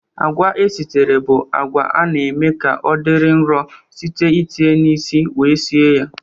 Agwa esitere bụ agwa a na-eme ka ọ dị nro site n'itinye na isi wee sie ya.